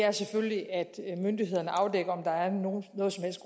er selvfølgelig at myndighederne afdækker